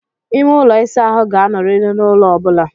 Ime ụlọ ịsa ahụ ga-anọrịrị n'ulo ọ bụla.